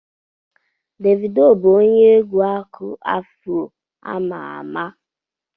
Devido bụ onye egwu Aku-afuro ama ama.